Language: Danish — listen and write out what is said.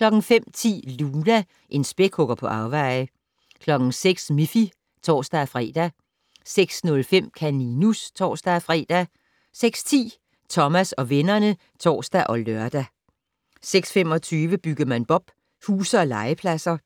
05:10: Luna - en spækhugger på afveje 06:00: Miffy (tor-fre) 06:05: Kaninus (tor-fre) 06:10: Thomas og vennerne (tor og lør) 06:25: Byggemand Bob: Huse og legepladser